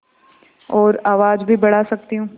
और आवाज़ भी बढ़ा सकती हूँ